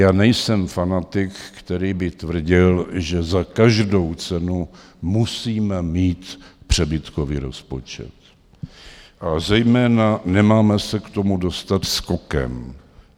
Já nejsem fanatik, který by tvrdil, že za každou cenu musíme mít přebytkový rozpočet, a zejména, nemáme se k tomu dostat skokem.